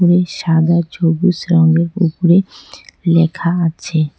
এই সাদা ছবুচ রঙের উপরে লেখা আছে।